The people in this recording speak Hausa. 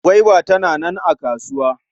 Gwaiba tana nan a kasuwa.